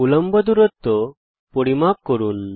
উল্লম্ব দূরত্ব পরিমাপ করুন